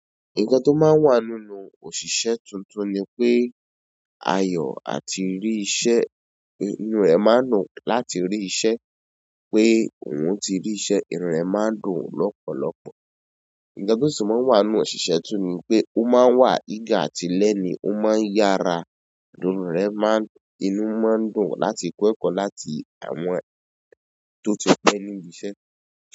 Nǹkan tó máa ń wà nínú òṣìṣẹ́ tuntun ni pé ayọ̀ àti rí iṣẹ́, inú rẹ̀ máa dùn láti rí iṣẹ́, pé òun ti rí iṣẹ́, inú rẹ̀ máa dùn lọpọlọpọ. Nǹkan tó máa ń wà nínú òṣìṣẹ́ tuntun ni pé ó máa ń wà eager àti learning ó máa ń yára, inú rẹ̀ máa ń, inú máa ń dùn láti kọ́ ẹ̀kọ́ láti àwọn tó ti pẹ́ níbi iṣẹ́.